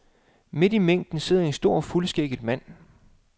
Midt i mængden sidder en stor fuldskægget mand.